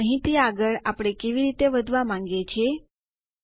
અને અહીંથી આગળ આપણે કેવી રીતે વધવા માંગીએ છીએ